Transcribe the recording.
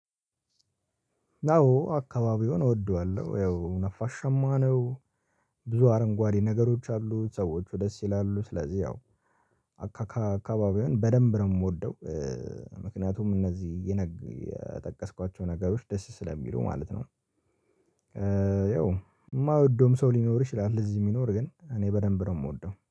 ናው አካባቢውን እወደዋለሁ ያው ነፋሻማ ነው። ብዙ አረንጓዴ ነገሮች አሉ ሰዎቹ ደስ ይላሉ ስለዚህ ያው አካ አካባቢውን በደንብ ነው የምወደው። ምክንያቱም እነዚህ የነግ የጠቀስኳቸው ነገሮች ደስ ስለሚሉ ማለት ነው። ያው የማወደውም ሰው ሊኖር ይችላል እዚህ የሚኖር ግን እኔ በደንብ ነው የምወደው